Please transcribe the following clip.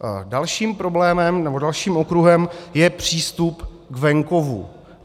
Dalším problémem nebo dalším okruhem je přístup k venkovu.